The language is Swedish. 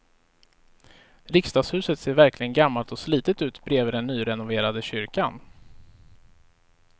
Riksdagshuset ser verkligen gammalt och slitet ut bredvid den nyrenoverade kyrkan.